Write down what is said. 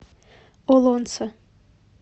олонце